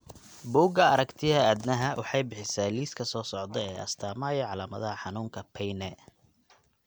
Buugga Aragtiyaha Aadanaha waxay bixisaa liiska soo socda ee astamaha iyo calaamadaha xanuunka Paine .